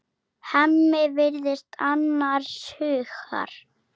Hemmi virðist annars hugar.